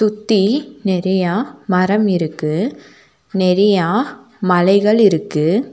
சுத்தி நெறியா மரம் இருக்கு நெறியா மலைகள் இருக்கு.